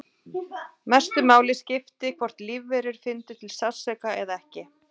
Mestu máli skipti hvort lífverur fyndu til sársauka eða ekki.